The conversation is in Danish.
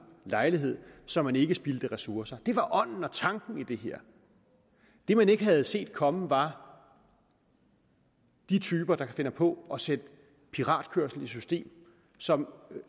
lejlighed så man ikke spildte ressourcer det var ånden og tanken i det her det man ikke havde set komme var de typer der finder på at sætte piratkørsel i system som